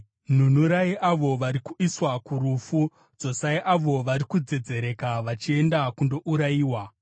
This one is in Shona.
Nunurai avo vari kuiswa kurufu; dzosai avo vari kudzedzereka vachienda kundourayiwa.